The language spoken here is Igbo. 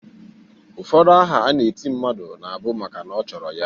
Ụfọdụ aha a na-eti mmadụ na bu maka na ọ chọrọ ya.